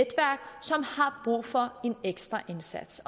brug for en ekstra indsats